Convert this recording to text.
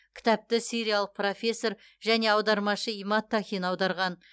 кітапты сириялық профессор және аудармашы имад тахин аударған